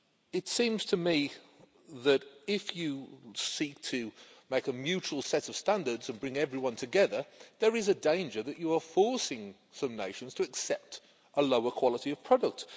It seems to me that if you seek to make a mutual set of standards and bring everyone together, there is a danger that you are forcing some nations to accept a lower quality of product.